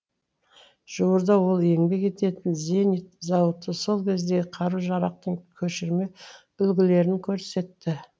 жуырда ол еңбек ететін зенит зауыты сол кездегі қару жарақтың көшірме үлгілерін көрсетті